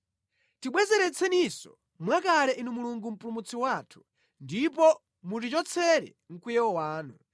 Tibwezeretseninso mwakale Inu Mulungu Mpulumutsi wathu, ndipo mutichotsere mkwiyo wanu.